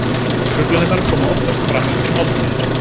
Truflanirnar koma oftast fram eftir máltíðir.